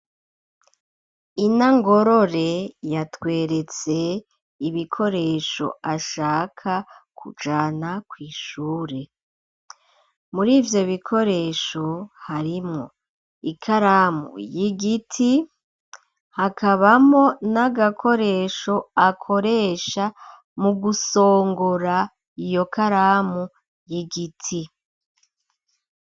Ina ngorore yatweretse ibikoresho ashaka kujana kw'ishure muri ivyo bikoresho harimwo ikaramu y'igiti hakabamo n'agakoresho akoresha mu gusongora iyokaramu ye giti.